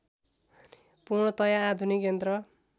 पूर्णतया आधुनिक यन्त्र